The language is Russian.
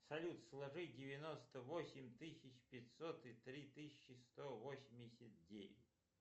салют сложи девяносто восемь тысяч пятьсот и три тысячи сто восемьдесят девять